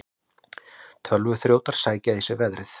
Tölvuþrjótar sækja í sig veðrið